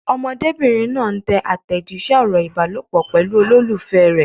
Ọmọdébìnrin náà ń tẹ àtẹ̀jíṣẹ́ ọ̀rọ̀ ìbálòpọ̀ pẹ̀lú olólùfẹ́ rẹ̀.